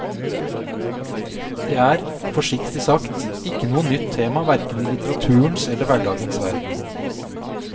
Det er, forsiktig sagt, ikke noe nytt tema hverken i litteraturens eller hverdagens verden.